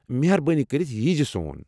مہربٲنی کٔرِتھ ییٖزِ سون۔